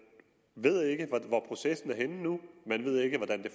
ved ikke hvor processen er nu man ved ikke hvordan det